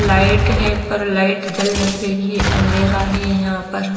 light है पर light जल नहीं रही है अँधेरा है यहाँ पर--